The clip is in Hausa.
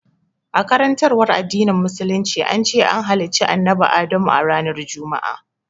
A karantarwar addinin musulunci, an ce an halicci annabi Adamu a ranar Juma'a